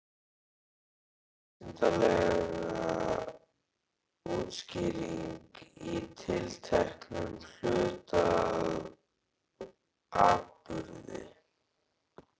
Hvað er vísindaleg útskýring á tilteknum hlut eða atburði?